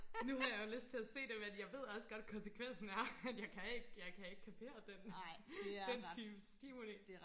nu har jeg jo lyst til at se det men jeg ved også godt koncekvensen er at jeg kan ikke jeg kan ikke kapere den den type stimuli